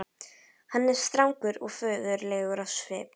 Hann er strangur og föður legur á svip.